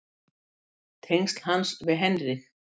Tengsl hans við Heinrich